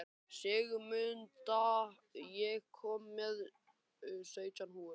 Sigmunda, ég kom með sautján húfur!